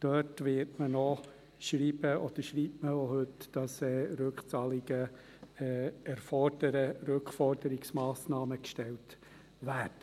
Dort wird man noch schreiben, oder schreibt man eigentlich schon heute, dass man Rückzahlungen fordert, dass Rückforderungsmassnahmen gestellt werden.